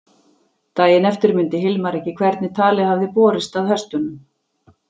Daginn eftir mundi Hilmar ekki hvernig talið hafði borist að hestunum.